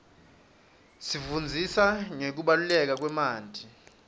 isifundzisa ngekubaluleka kwemanti